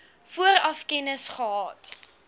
vooraf kennis gehad